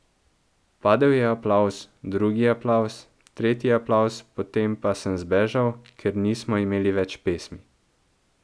Padel je aplavz, drugi aplavz, tretji aplavz potem pa sem zbežal, ker nismo imeli več pesmi.